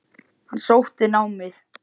Hann sótti námið.